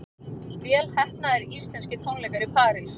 Vel heppnaðir íslenskir tónleikar í París